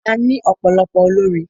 A ní ọ̀pọ̀lọpọ̀ olórin.